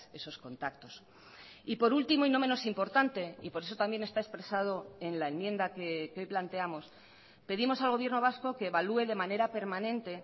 esos contactos y por último y no menos importante y por eso también está expresado en la enmienda que hoy planteamos pedimos al gobierno vasco que evalúe de manera permanente